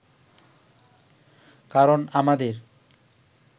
কারণ আমাদের